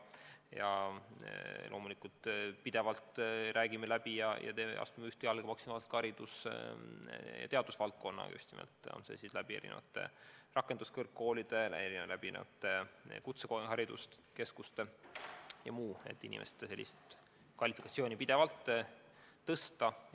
Ja loomulikult räägime pidevalt läbi ja astume maksimaalselt ühte jalga haridus- ja teadusvaldkonnaga, on see siis erinevate rakenduskõrgkoolide kaudu või erinevate kutsehariduskeskuste kaudu, et pidevalt inimeste kvalifikatsiooni tõsta.